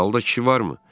Salda kişi varmı?